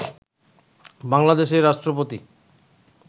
বাংলাদেশের রাষ্ট্রপতি